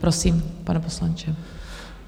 Prosím, pane poslanče.